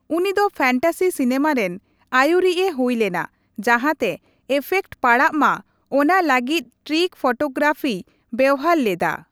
ᱩᱱᱤ ᱫᱚ fantasy cinema ᱨᱮᱱ ᱟᱹᱭᱩᱨᱤᱡᱼᱮ ᱦᱩᱭ ᱞᱮᱱᱟ ᱡᱟᱦᱟᱸᱛᱮ ᱮᱯᱷᱮᱠᱴ ᱯᱟᱲᱟᱜ ᱢᱟ ᱚᱱᱟ ᱞᱟᱹᱜᱤᱫ ᱴᱨᱤᱠ ᱯᱷᱳᱴᱳᱜᱨᱟᱯᱷᱤᱭ ᱵᱮᱣᱦᱟᱨ ᱞᱮᱫᱟ ᱾